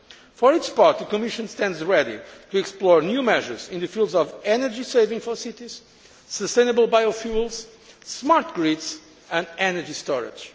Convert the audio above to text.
For its part, the Commission stands ready to explore new measures in the fields of energy saving for cities, sustainable biofuels, smart grids and energy storage.